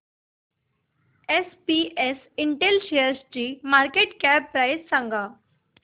SPS Intel शेअरची market cap price सांगा